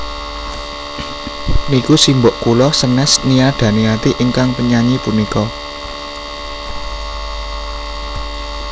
Niku simbok kula senes Nia Daniati ingkang penyanyi punika